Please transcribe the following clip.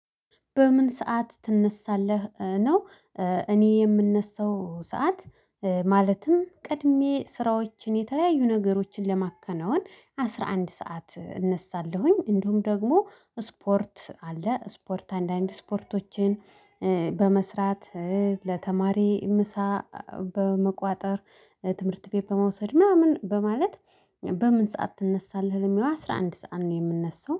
በምን ሰዓት ትነሳለህ ነው? እኔ የምነሳው ሰዓት። ማለትም ቀድሜ ስራዎችን የተለያዩ ነገሮችን ለማከናወን አስራ አንድ ሰዓት እነሳለሁኝ እንደውም ደግሞ ስፖርት አለ ስፖርት አንዳንድ ስፖርቶችን። በመስራት ለተማሪ ምሳ በመቋጠር ትምህርት ቤት በመውሰድ ምናምን በማለት። በምን ሰዓት ትነሳለህ? ለሚለው አስራ አንድ ሰዓት ነው የምነሳው